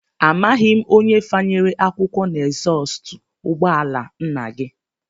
Amaghị m onye fanyere akwụkwọ n'ezọstụ ụgbọala nna gị